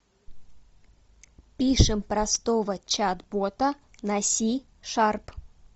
пишем простого чат бота на си шарп